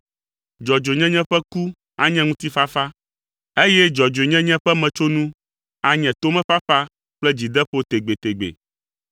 Dzɔdzɔenyenye ƒe ku anye ŋutifafa, eye dzɔdzɔenyenye ƒe metsonu anye tomefafa kple dzideƒo tegbetegbe.